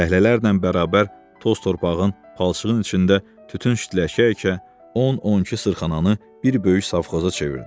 Fəhlələrlə bərabər toz-torpağın, palçığın içində tütün şitlər əkə-əkə, 10-12 sırxananı bir böyük savxoza çevirdi.